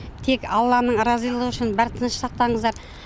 тек алланың разылығы үшін бар тынышты сақтаңыздар